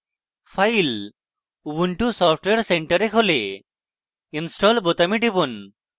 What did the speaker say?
file ubuntu software centre এ খোলে install বোতামে টিপুন